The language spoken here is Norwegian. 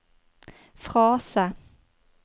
frase